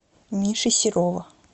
миши серова